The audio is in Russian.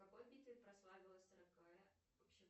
в какой битве прославилась